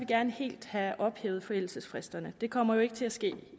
gerne helt have ophævet forældelsesfristerne det kommer jo ikke til at ske